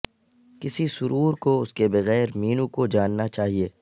کسی سرور کو اس کے بغیر مینو کو جاننا چاہئے